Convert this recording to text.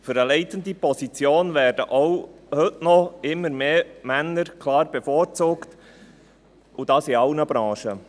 Für eine leitende Position werden auch heute noch Männer klar bevorzugt, und dies in allen Branchen.